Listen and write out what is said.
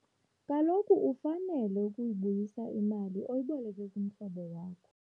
Kaloku ufanele ukuyibuyisa imali oyiboleke kumhlobo wakho.